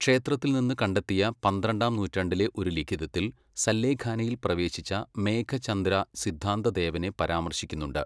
ക്ഷേത്രത്തിൽ നിന്ന് കണ്ടെത്തിയ പന്ത്രണ്ടാം നൂറ്റാണ്ടിലെ ഒരു ലിഖിതത്തിൽ സല്ലേഖാനയിൽ പ്രവേശിച്ച മേഘചംദ്ര സിദ്ധാന്തദേവനെ പരാമർശിക്കുന്നുണ്ട്.